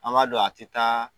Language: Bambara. An ma don a tɛ taa